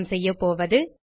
நாம் செய்யப்போவது